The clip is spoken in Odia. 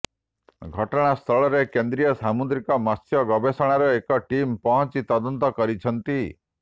ଘଟଣାସ୍ଥଳରେ କେନ୍ଦ୍ରୀୟ ସାମୁଦ୍ରିକ ମତ୍ସ୍ୟ ଗବେଷଣାର ଏକ ଟିମ ପହଂଚି ତଦନ୍ତ କରିଛନ୍ତି